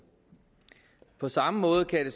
på samme måde kan